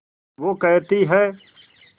वो कहती हैं